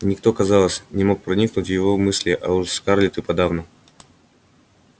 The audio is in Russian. никто казалось не мог проникнуть в его мысли а уж скарлетт и подавно